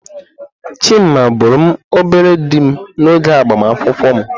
Chima bụụrụ m obere dim n'oge agbamakwụkwọ m.